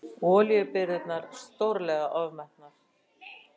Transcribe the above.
Olíubirgðirnar stórlega ofmetnar